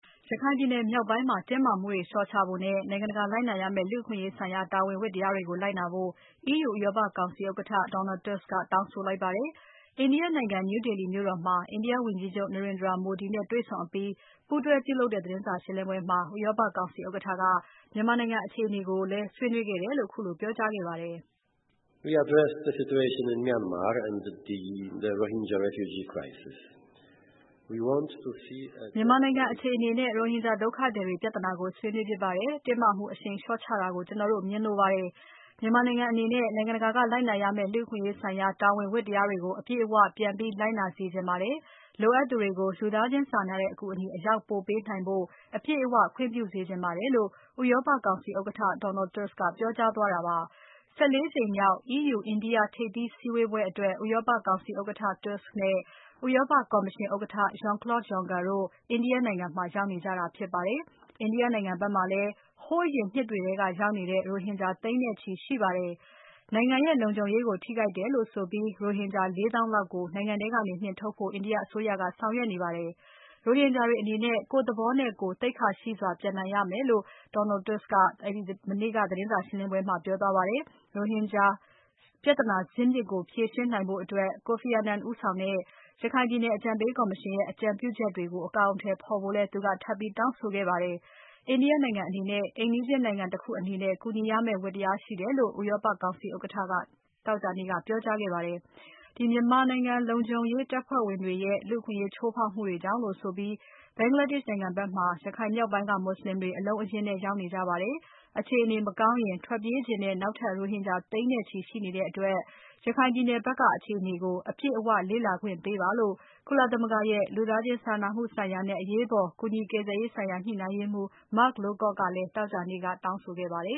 ရခိုင်ပြည်နယ်မြောက်ပိုင်းမှာ တင်းမာမှုတွေလျှော့ချဖို့နဲ့ နိုင်ငံတကာ လိုက်နာရမယ့် လူ့အခွင့်အရေးဆိုင်ရာ တာဝန်ဝတ္တရားတွေကို လိုက်နာဖို့ EU ဥရောပကောင်စီဥက္ကဋ္ဌ Donald Tusk ကတောင်းဆိုလိုက်ပါတယ်။ India နိုင်ငံ New Delhi မြို့တော်မှာ India ဝန်ကြီးချုပ် Narendra Modi နဲ့တွေ့ဆုံဆွေးနွေးအပြီး ပူးတွဲပြုလုပ်တဲ့ သတင်းစာရှင်းပွဲမှာ ဥရောပကောင်စီဥက္ကဋ္ဌက မြန်မာနိုင်ငံအခြေအနေကိုလည်း ဆွေးနွေးခဲ့တယ်လို့ အခုလိုပြောကြားခဲ့ပါတယ်။ "မြန်မာနိုင်ငံအခြေအနေနဲ့ ရိုဟင်ဂျာဒုက္ခသည်တွေပြဿနာကို ဆွေးနွေးဖြစ်ပါတယ်။ တင်းမာမှုအရှိန်လျှော့ချတာကို ကျွန်တော်တို့မြင်လိုပါတယ်။ မြန်မာနိုင်ငံအနေနဲ့ နိုင်ငံတကာကလိုက်နာရမယ့် လူ့အခွင့်အရေးဆိုင်ရာ တာဝန်ဝတ္တရားတွေကို အပြည့်အဝ ပြန်လိုက်နာစေချင်ပါတယ်။ လိုအပ်သူတွေကို လူသားချင်းစာနာတဲ့ အကူအညီ အရောက်ပို့ပေးနိုင်ဖို့ အပြည့်အဝ ခွင့်ပြုစေချင်ပါတယ်"လို့ ဥရောပကောင်စီဥက္ကဋ္ဌ Donald Tusk က ပြောကြားခဲ့တာပါ။ ၁၄ ကြိမ်မြောက် EU India ထိပ်သီးစည်းဝေးပွဲအတွက် ဥရောပကောင်စီဥက္ကဋ္ဌ Tusk နဲ့ ဥရောပကော်မရှင်ဥက္ကဋ္ဌ Jean-Claude Juncker တို့ India နိုင်ငံမှာ ရောက်နေကြတာဖြစ်ပါတယ်။ India နိုင်ငံဖက်မှာလည်း ဟိုးအရင်နှစ်တွေထဲက ရောက်နေကြတဲ့ ရိုဟင်ဂျာ သိန်းနဲ့ချီရှိပါတယ်။ သူတို့ဟာနိုင်ငံရဲ့ လုံခြုံရေးကို ထိခိုက်တယ်လို့ဆိုပြီး ရိုဟင်ဂျာ ၄ သောင်းလောက်ကို နိုင်ငံထဲက နှင်ထုတ်ဖို့ India အစိုးရက ဆောင်ရွက်နေပါတယ်။ ရိုဟင်ဂျာတွေအနေနဲ့ ကိုယ့်သဘောနဲ့ကိုယ် သိက္ခာရှိစွာ ပြန်နိုင်ရမယ်လို့ Donald Tusk ကပြောပါတယ်။ ရိုဟင်ဂျာပြဿနာဇစ်မြစ်ကို ဖြေရှင်းနိုင်ဖို့အတွက် Kofi Annan ဦးဆောင်တဲ့ ရခိုင်ပြည်နယ်အကြံပေးကော်မရှင်ရဲ့ အကြံပြုချက်တွေကို အကောင်အထည်ဖော်ဖို့လည်း သူကထပ်ပြီးတောင်းဆိုခဲ့ပါတယ်။ India နိုင်ငံအနေနဲ့ အိမ်နီးချင်းနိုင်ငံတခုအနေနဲ့ ကူညီရမယ့် ဝတ္တရားရှိတယ်လို့ ဥရောပကောင်စီဥက္ကဋ္ဌက သောကြာနေ့က ပြောကြားခဲ့ပါတယ်။ မြန်မာလုံခြုံရေး တပ်ဖွဲ့ဝင်တွေရဲ့ လူ့အခွင့်အရေးချိုးဖောက်မှုတွေကြောင့်လို့ဆိုပြီး Bangladesh နိုင်ငံဖက်မှာ ရခိုင်မြောက်ပိုင်းက မွတ်ဆလင်တွေအလုံးအရင်းနဲ့ ရောက်နေကြပါတယ်။ အခြေအနေမကောင်းရင် ထွက်ပြေးချင်တဲ့ နောက်ထပ် ရိုဟင်ဂျာသိန်းနဲ့ချီရှိနေတဲ့အတွက် ရခိုင်ပြည်နယ်ဖက်က အခြေအနေကို အပြည့်အဝ လေ့လာခွင့်ပေးပါလို့ ကုလသမဂ္ဂရဲ့ လူသားချင်းစာနာမှုဆိုင်ရာနဲ့ အရေးပေါ်ကူညီကယ်ဆယ်ရေးဆိုင်ရာ ညှိနှိုင်းရေးမှူး Mark Lowcock ကလည်း သောကြာနေ့က တောင်းဆိုခဲ့ပါတယ